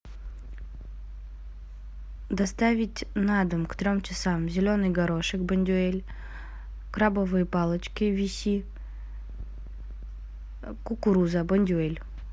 доставить на дом к трем часам зеленый горошек бондюэль крабовые палочки виси кукуруза бондюэль